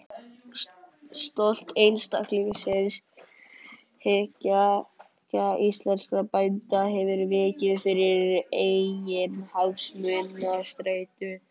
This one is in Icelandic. Stolt einstaklingshyggja íslenskra bænda hefur vikið fyrir eiginhagsmunastreitu.